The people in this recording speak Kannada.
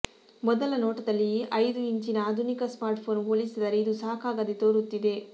ಮೊದಲ ನೋಟದಲ್ಲಿ ಐದು ಇಂಚಿನ ಆಧುನಿಕ ಸ್ಮಾರ್ಟ್ಫೋನ್ ಹೋಲಿಸಿದರೆ ಇದು ಸಾಕಾಗದೇ ತೋರುತ್ತಿದೆ